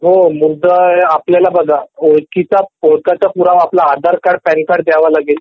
हो मुद्दा आहे आपल्याला बघा ओळखीचा पुरावा आपला आधार कार्ड पॅन कार्ड द्यावा लागेल